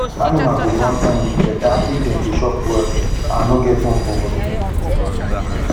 animal go born um better if dem dey chop well and no get worm for body